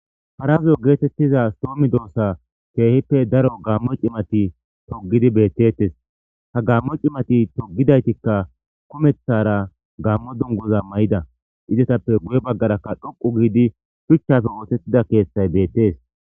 Parazo geetettiza soomi doossa keehippe daro gammo cimati togidi bettettes ha gammo cimati togidaytikka kumeththara gammo dungoza may7ida izetappe guye baggarakka dhoqu giidi shuchchafe wootettida keeththay beettees.